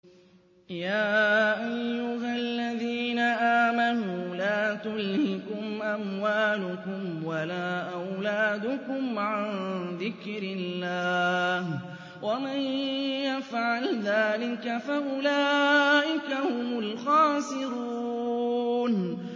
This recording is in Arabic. يَا أَيُّهَا الَّذِينَ آمَنُوا لَا تُلْهِكُمْ أَمْوَالُكُمْ وَلَا أَوْلَادُكُمْ عَن ذِكْرِ اللَّهِ ۚ وَمَن يَفْعَلْ ذَٰلِكَ فَأُولَٰئِكَ هُمُ الْخَاسِرُونَ